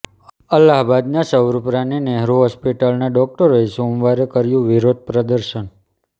અલ્હાબાદના સ્વરૂપ રાની નેહરુ હોસ્પિટલના ડોક્ટરોએ સોમવારે કર્યું વિરોધ પ્રદર્શન